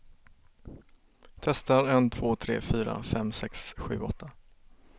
Testar en två tre fyra fem sex sju åtta.